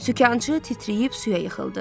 Sükançı titrəyib suya yıxıldı.